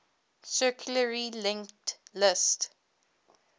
circularly linked list